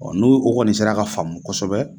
n'u o kɔni sera ka faamu kosɛbɛ